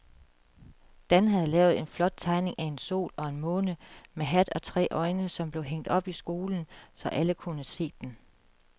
Dan havde lavet en flot tegning af en sol og en måne med hat og tre øjne, som blev hængt op i skolen, så alle kunne se den.